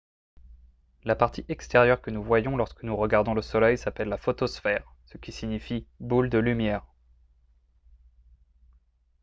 la partie extérieure que nous voyons lorsque nous regardons le soleil s’appelle la photosphère ce qui signifie « boule de lumière »